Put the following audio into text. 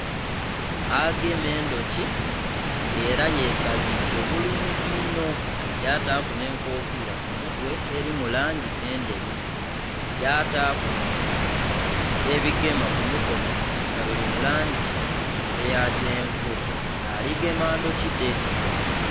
Agema edhoki nga era yesabike bulungi nho, yataaku nh'enkofira ku mutwe eri mu langi edheru. Yataaku ebigema ku mukono nga biri mu langi eya kyenvu. Nga ali gema ndhoki dhe.